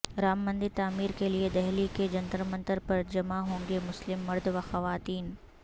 رام مندر تعمیر کیلئے دہلی کے جنتر منتر پر جمع ہونگے مسلم مرد وخواتین